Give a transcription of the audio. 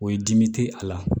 O ye dimi te a la